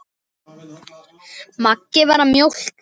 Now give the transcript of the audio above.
Mangi var að mjólka.